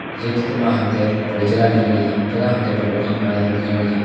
ये चित्र मा हमें एक बड़ी जगह दिखेण लगीं जखा हम ते बड़ी बड़ी इमारतन दिखेण लगीं।